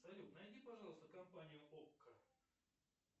салют найди пожалуйста компанию окко